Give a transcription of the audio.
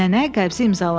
Nənə qəbzi imzaladı.